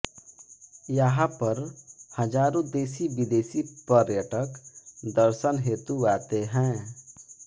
यहा पर हजारो देशी विदेशी पर्यटक दर्शन हेतु आते हैं